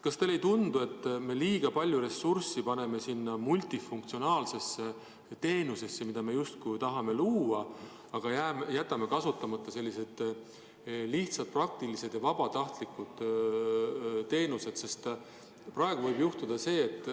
Kas teile ei tundu, et me liiga palju ressurssi paneme sellisesse multifunktsionaalsesse teenusesse, mida me tahame luua, aga jätame kasutamata lihtsad ja praktilised lahendused, mis põhinevad vabatahtlikkusel?